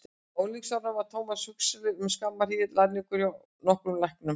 Á unglingsárum var Thomas Huxley um skamma hríð lærlingur hjá nokkrum læknum.